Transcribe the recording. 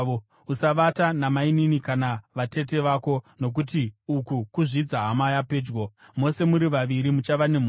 “ ‘Usavata namainini kana vatete vako nokuti uku kuzvidza hama yapedyo; mose muri vaviri muchava nemhosva.